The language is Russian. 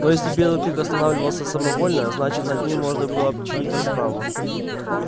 но если белый клык останавливался самовольно значит над ним можно было чинить расправу